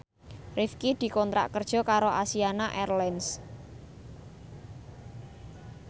Rifqi dikontrak kerja karo Asiana Airlines